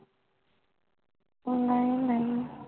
ਨਾਈ ਨਾਈ